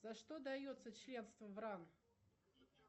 за что дается членство в ран